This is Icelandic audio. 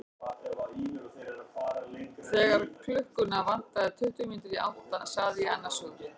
Þegar klukkuna vantaði tuttugu mínútur í átta sagði ég annars hugar.